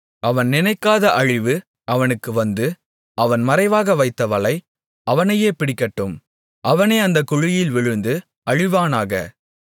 அவன் நினைக்காத அழிவு அவனுக்கு வந்து அவன் மறைவாக வைத்த வலை அவனையே பிடிக்கட்டும் அவனே அந்தக் குழியில் விழுந்து அழிவானாக